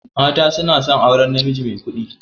Mata suna son aurar najimi mai kuɗi.